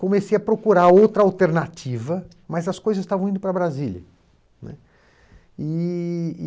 Comecei a procurar outra alternativa, mas as coisas estavam indo para Brasília né. E